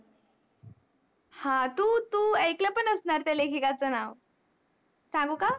हा तू तू ऐकल पण असणार त्या लेखिकाच नाव सांगू का